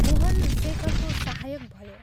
मोहन शेखरको सहायक भयो।